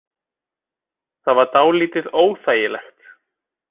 Það var dálítið óþægilegt.